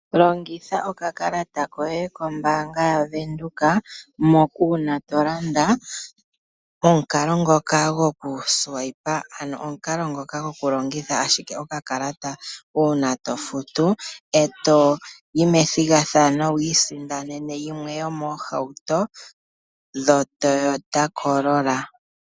Longitha oka kalata koye kOmbaanga yaVenduka, moka uuna tolanda nomukalo ngoka goku suwayipa ano omukalo ngoka goku longitha ashike oka kalata. Uuna to futu e toyi methigathano ano wi isindanene yimwe yomoohauto dho Toyota corolla.